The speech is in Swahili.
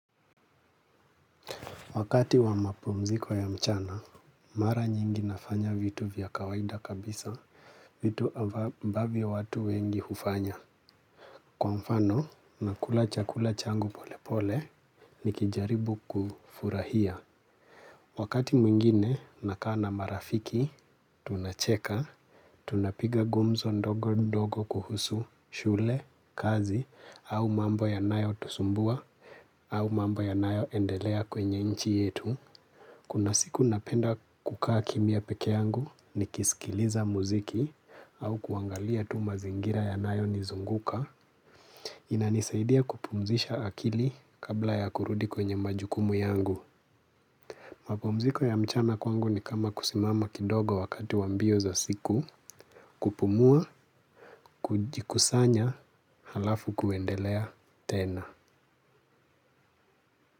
Wakati wa mapumziko ya mchana, mara nyingi nafanya vitu vya kawaida kabisa, vitu ambavyo watu wengi hufanya. Kwa mfano, nakula chakula changu pole pole, nikijaribu kufurahia. Wakati mwingine nakaa na marafiki, tunacheka, tunapiga gumzo ndogo ndogo kuhusu shule, kazi, au mambo yanayotusumbua, au mambo yanayoendelea kwenye nchi yetu. Kuna siku napenda kukaa kimya peke yangu nikisikiliza muziki au kuangalia tu mazingira yanayonizunguka. Inanisaidia kupumzisha akili kabla ya kurudi kwenye majukumu yangu. Mapumziko ya mchana kwangu ni kama kusimama kidogo wakati wa mbio za siku. Kupumua, kujikusanya, halafu kuendelea tena.